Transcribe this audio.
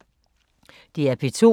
DR P2